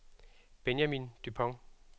Benjamin Dupont